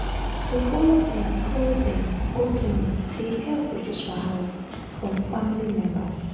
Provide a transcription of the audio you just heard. to show emotional support dey really help during hard times times when place calm and support dey.